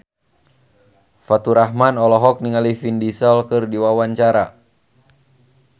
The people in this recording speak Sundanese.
Faturrahman olohok ningali Vin Diesel keur diwawancara